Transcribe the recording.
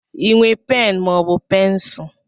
I nwe pen maọbụ pencul?